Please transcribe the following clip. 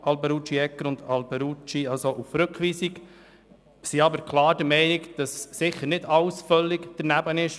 Wir sind aber auch der Meinung, dass die geäusserte Kritik nicht grundlos ist.